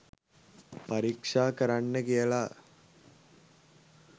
පරීක්ෂා කරන්න කියලා